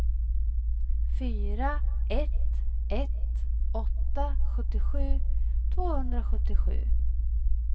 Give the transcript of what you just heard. fyra ett ett åtta sjuttiosju tvåhundrasjuttiosju